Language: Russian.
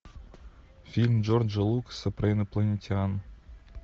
фильм джорджа лукаса про инопланетян